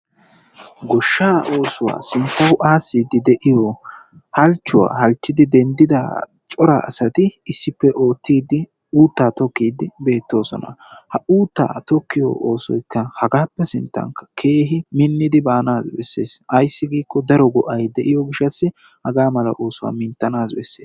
Goshshaa oosuwa sinttawu aassiiddi dei'yo halchchuwa halchchidi denddida cora asati issippe oottiiddi uuttaa tokkiiddi beettoosona. Ha uuttaa tokkiyo oosoyikka hagaappe sinttawu keehi minnidi baanaayyo besses. Ayissi giikko daro go'ay de'iyo gishshataassi hagaa mala oosuwa minttanaassi besses.